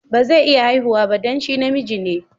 Ba zai iya haihuwa ba dan shi na miji ne.